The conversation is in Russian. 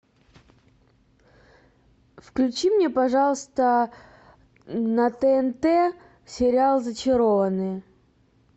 включи мне пожалуйста на тнт сериал зачарованные